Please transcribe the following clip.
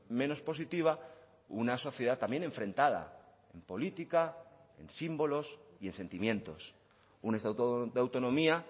menos positiva una sociedad también enfrentada en política en símbolos y en sentimientos un estatuto de autonomía